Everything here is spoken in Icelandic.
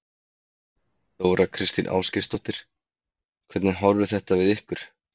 Þóra Kristín Ásgeirsdóttir: Hvernig horfir þetta við ykkur?